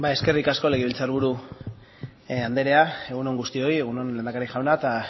eskerrik asko legebiltzar buru andrea egun on guztioi egun on lehendakari jauna eta